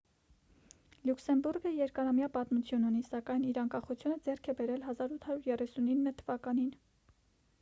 լյուքսեմբուրգը երկարամյա պատմություն ունի սակայն իր անկախությունը ձեռք է բերել 1839 թվականին